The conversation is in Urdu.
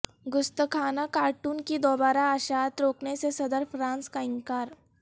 گستاخانہ کارٹون کی دوبارہ اشاعت روکنے سے صدر فرانس کا انکار